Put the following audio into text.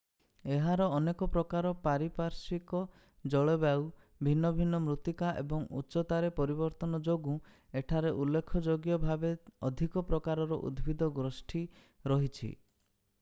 ଏହାର ଅନେକ ପ୍ରକାର ପାରିପାର୍ଶ୍ୱିକ ଜଳବାୟୁ ଭିନ୍ନ ଭିନ୍ନ ମୃତ୍ତିକା ଏବଂ ଉଚ୍ଚତାରେ ପରିବର୍ତ୍ତନ ଯୋଗୁଁ ଏଠାରେ ଉଲ୍ଲେଖଯୋଗ୍ୟ ଭାବେ ଅଧିକ ପ୍ରକାରର ଉଦ୍ଭିଦ ଗୋଷ୍ଠୀ ରହିଛି